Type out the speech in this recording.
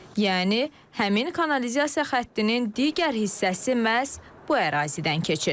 Yəni həmin kanalizasiya xəttinin digər hissəsi məhz bu ərazidən keçir.